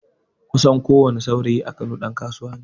Kusan ko wani saurayi a kano ɗan kasuwa neh